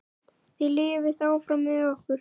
Þið lifið áfram með okkur.